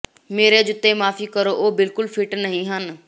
ਮੇਰੇ ਜੁੱਤੇ ਮਾਫੀ ਕਰੋ ਉਹ ਬਿਲਕੁਲ ਫਿੱਟ ਨਹੀਂ ਹਨ